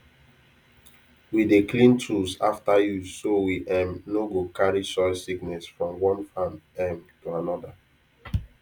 we dey clean tools after use so we um no go carry soil sickness from one farm um to another